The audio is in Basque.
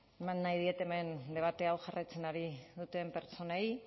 eman nahi diet hemen debate hau jarraitzen ari diren pertsonei